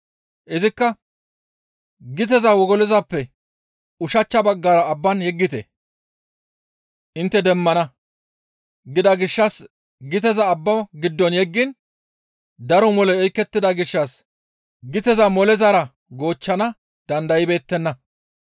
Izikka, «Giteza wogolozappe ushachcha baggara abban yeggite; intte demmana» gida gishshas giteza abbaa giddo yeggiin daro moley oykettida gishshas giteza molezara goochchana dandaybeettenna.